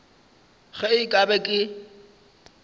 ge e ka ba ke